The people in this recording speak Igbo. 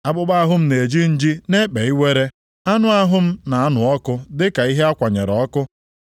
Akpụkpọ ahụ m na-eji nji na-ekpe iwere; anụ ahụ m na-anụ ọkụ dịka ihe a kwanyere ọkụ.